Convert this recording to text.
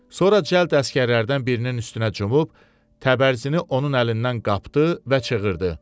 Sonra cəld əsgərlərdən birinin üstünə cumub, təbərzini onun əlindən qapdı və çığırdı.